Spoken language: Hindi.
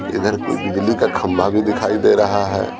इधर कोई बिजली का खंभा भी दिखाई दे रहा है।